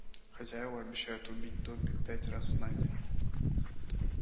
хозяева обещают убить добби пять раз на день